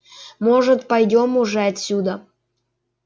может пойдём уже отсюда